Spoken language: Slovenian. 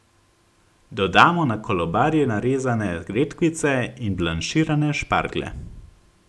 Dodamo na kolobarje narezane redkvice in blanširane šparglje.